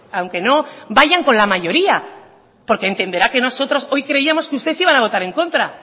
aunque no vayan con la mayoría porque entenderá que nosotros hoy creíamos que ustedes iban a votar en contra